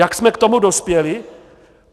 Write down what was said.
Jak jsme k tomu dospěli?